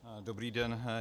Dobrý den.